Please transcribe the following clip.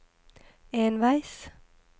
enveis